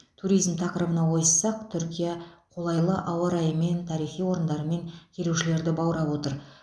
туризм тақырыбына ойыссақ түркия қолайлы ауа райымен тарихи орындарымен келуішлерді баура отыр